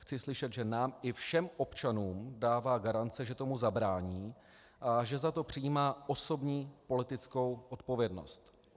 Chci slyšet, že nám i všem občanům dává garance, že tomu zabrání a že za to přejímá osobní politickou odpovědnost.